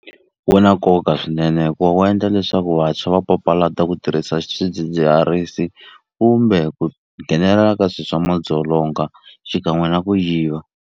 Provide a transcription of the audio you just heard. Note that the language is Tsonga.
Wu na nkoka swinene hikuva wu endla leswaku vantshwa va papalata ku tirhisa swidzidziharisi kumbe ku nghenelela ka swi swa madzolonga xikan'we na ku yiva.